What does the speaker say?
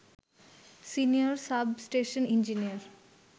senior substation engineer